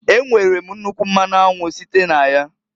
E nwere m nnukwu mmanụ anwụ site n'aya.